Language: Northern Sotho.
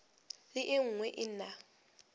le e nngwe e na